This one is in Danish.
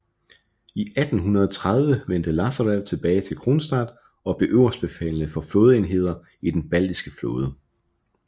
I 1830 vendte Lasarev tilbage til Kronstadt og blev øverstbefalende for flådeenheder i den baltiske flåde